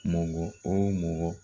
Mɔgɔ o mɔgɔ